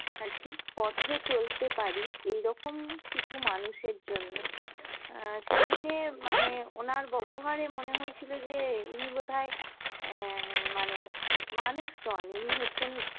অ্যাঁ ঠিক পথে চলতে পারি, এইরকম কিছু মানুষের জন্যই। অ্যাঁ সেইদিনে মানে ওনার ব্যাবহারে মনে হয়েছিল যে এনি বোধ হয় অ্যাঁ মানে মানুষ নন, ইনি হচ্ছেন